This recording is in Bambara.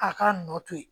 A k'a nɔ to yen